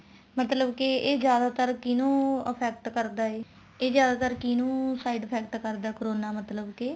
ਮਤਲਬ ਕੇ ਇਹ ਜਿਆਦਾ ਤਰ ਕਿਹਨੂ effect ਕਰਦਾ ਇਹ ਇਹ ਜਿਆਦਾਤਰ ਕਿਹਨੂੰ side effect ਕਰਦਾ corona ਮਤਲਬ ਕੇ